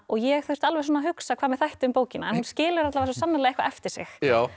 ég þurfti alveg að hugsa hvað mér þætti um bókina hún skilur svo sannarlega eitthvað eftir sig